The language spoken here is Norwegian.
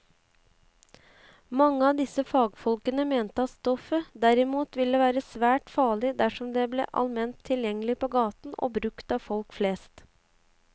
Mange av disse fagfolkene mente at stoffet derimot ville være svært farlig dersom det ble allment tilgjengelig på gaten og brukt av folk flest.